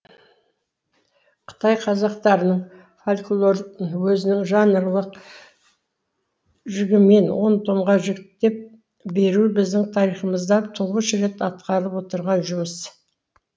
қытай қазақтарының фольклорын өзінің жанрлық жігімен он томға жіктеп беру біздің тарихымызда тұңғыш рет атқарылып отырған жұмыс